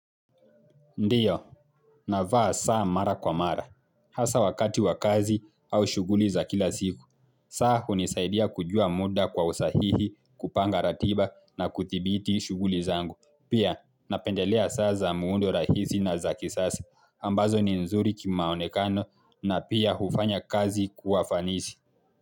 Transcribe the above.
Ndiyo, na vaa saa mara kwa mara, hasa wakati wa kazi au shuguli za kila siku, saa hunisaidia kujua muda kwa usahihi kupanga ratiba na kudhibiti shughuli zangu. Pia, napendelea saa za muundo rahisi na za kisasa, ambazo ni nzuri kimaonekano na pia hufanya kazi kuwa fanisi.